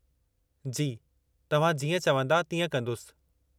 जी, तव्हां जीअं चवंदा तीअं कंदुसि।